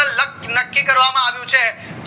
નક્કી કરવામાં આવ્યું છે